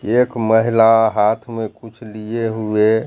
एक महिला हाथ में कुछ लिए हुए--